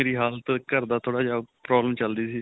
ਮੇਰੀ ਹਾਲਤ ਘਰ ਦਾ ਥੋੜਾ ਜਿਹਾ problem ਚਲ ਰਹੀ ਸੀ .